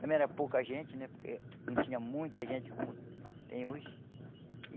Também era pouca gente né, porque não tinha muita gente como tem hoje.